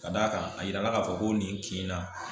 Ka d'a kan a yirala k'a fɔ ko nin kin na